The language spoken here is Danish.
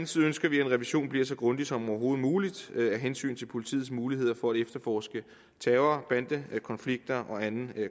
side ønsker vi at revisionen bliver så grundig som overhovedet muligt af hensyn til politiets muligheder for at efterforske terror bandekonflikter og anden